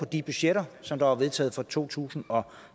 de budgetter som var vedtaget for to tusind og